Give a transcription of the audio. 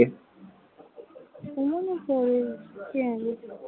সুমনের পরে, কে